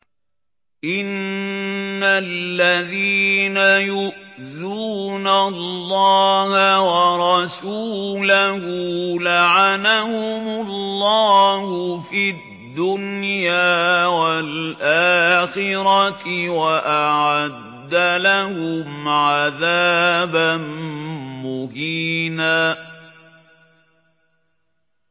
إِنَّ الَّذِينَ يُؤْذُونَ اللَّهَ وَرَسُولَهُ لَعَنَهُمُ اللَّهُ فِي الدُّنْيَا وَالْآخِرَةِ وَأَعَدَّ لَهُمْ عَذَابًا مُّهِينًا